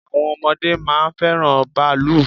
Àwọn ọmọdé máa ń fẹ́ràn bàálù.